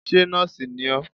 Ṣé nóòsì ni ọ́?